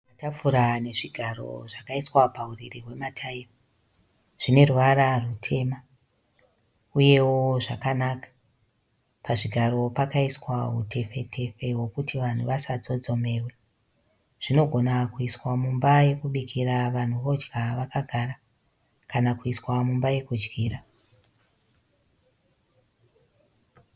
Matafura ane zvigaro zvakaiswa pauriri hwemataira. Zvine ruvara rutema uyewo zvakanaka. Pazvigaro pakaiswa utepfe tepfe hwokuti vanhu vasatsotsomewe. Zvinogona kuiswa mumba yekubikira vanhu vodya vakagara kana kuiswa mumba yekudyira.